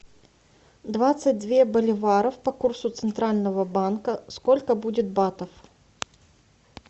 двадцать две боливаров по курсу центрального банка сколько будет батов